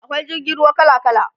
akwai jirgin ruwa kala kala